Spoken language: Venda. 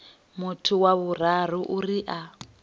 muthu wa vhuraru uri a